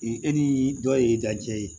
I e ni dɔ ye ja ye